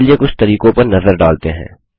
चलिए कुछ तरीकों पर नज़र डालते हैं